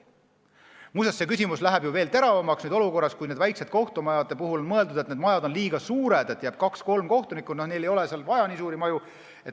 Muuseas, see küsimus läheb veel teravamaks praeguses olukorras, kus on mõeldud, et väiksemad kohtumajad on liiga suured, et kui jääb kaks-kolm kohtunikku, siis ei ole vaja nii suurt maja.